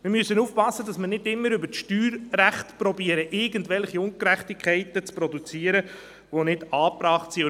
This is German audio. Wir müssen aufpassen, dass wir nicht immer versuchen, über das Steuerrecht irgendwelche Ungerechtigkeiten zu produzieren, die nicht angebracht sind.